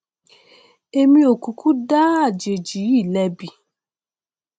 èmi ò kúkú dá àjèjì yìí lẹbi